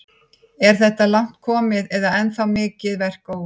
Lóa: Er þetta langt komið eða er ennþá mikið verk óunnið?